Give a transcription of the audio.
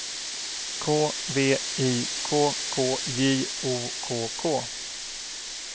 K V I K K J O K K